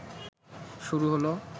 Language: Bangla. শুরু হল